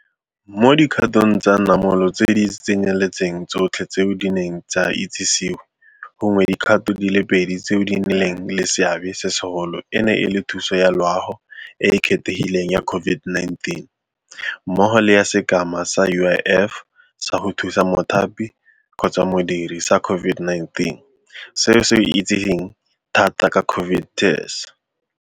Mo dikgatong tsa namolo tse di tsenyeletsang tsotlhe tseo di neng tsa itsisiwe, gongwe dikgato di le pedi tseo di nnileng le seabe se segolo e ne e le thuso ya loago e e kgethegileng ya COVID-19 mmogo le ya Sekema sa UIF sa go Thusa Mothapi-Modiri sa COVID-19, seo se itsegeng thata ka COVID TERS.